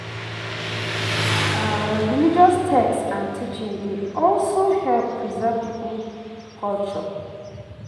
Religious text and teaching dey also help preserve pipo culture